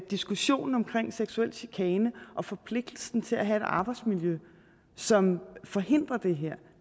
diskussionen omkring seksuel chikane og forpligtelsen til at have et arbejdsmiljø som forhindrer det her